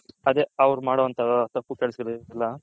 ಅವ್ರ್ ಮಾಡೋ ತಪ್ಪು ಕೆಲಸ